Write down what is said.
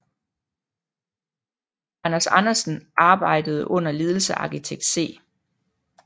Anders Andersen arbejdede under ledelse af arkitekt C